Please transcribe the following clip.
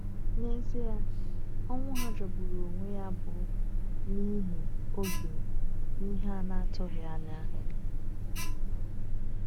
N’ezie, ọnwụ ha jọgburu onwe ya bụ n’ihi oge na ihe a na-atụghị anya.